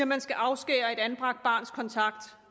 man skal afskære et anbragt barns kontakt